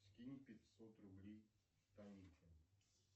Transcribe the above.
скинь пятьсот рублей танюхе